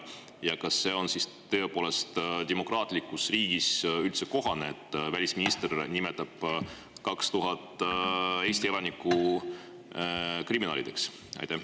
Ja kas see on tõepoolest demokraatlikus riigis kohane, et välisminister nimetab 2000 Eesti elanikku kriminaalideks?